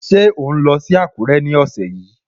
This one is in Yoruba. Ṣé ò ń lọ sí Àkúrẹ́ ní ọ̀sẹ̀ yìí?